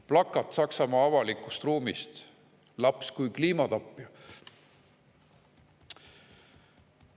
Plakat Saksamaa avalikust ruumist: "Laps kui kliimatapja".